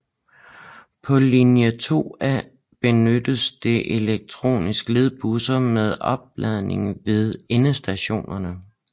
På linje 2A benyttes der elektriske ledbusser med opladning ved endestationerne